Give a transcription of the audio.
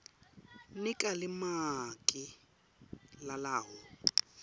nika limaki lalawo